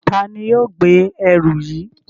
Tani yoo gbe ẹru yii?